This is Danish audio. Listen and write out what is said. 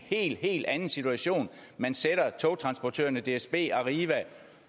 helt helt anden situation man sætter togtransportørerne dsb arriva